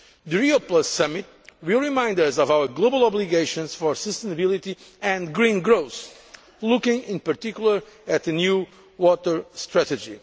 System. The Rio Summit will remind us of our global obligations for sustainability and green growth, looking in particular at a new water